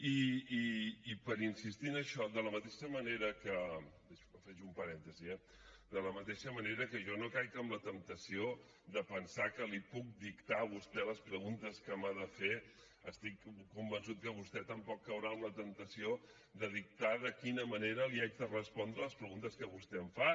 i per insistir en això faig un parèntesi eh de la mateixa manera que jo no caic en la temptació de pensar que li puc dictar a vostè les preguntes que m’ha de fer estic convençut que vostè tampoc caurà en la temptació de dictar de quina manera li haig de respondre les preguntes que vostè em fa